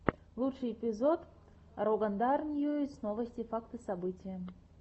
лучший эпизод рогандар ньюс новости факты события